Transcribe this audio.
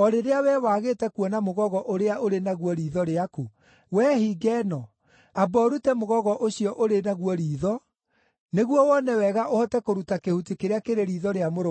o rĩrĩa wee wagĩte kuona mũgogo ũrĩa ũrĩ naguo riitho rĩaku? Wee hinga ĩno, amba ũrute mũgogo ũcio ũrĩ naguo riitho, nĩguo wone wega ũhote kũruta kĩhuti kĩrĩa kĩrĩ riitho rĩa mũrũ wa thoguo.